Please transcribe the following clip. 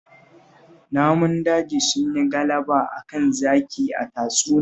Namun daji sun yi galaba a kan zaki a tatsuniyar